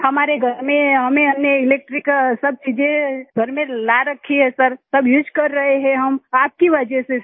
हमारे घर में हमने इलेक्ट्रिक सब चीज़ें घर में ला रखी हैं सर सब चीज़ें उसे कर रहे हैं आपकी वजह से सर